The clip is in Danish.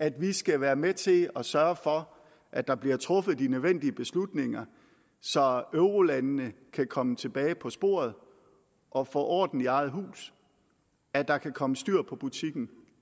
at vi skal være med til at sørge for at der bliver truffet de nødvendige beslutninger så eurolandene kan komme tilbage på sporet og få orden i eget hus at der kan komme styr på butikken